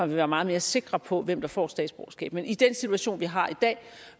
vil være meget mere sikker på hvem der får statsborgerskab men i den situation vi har i dag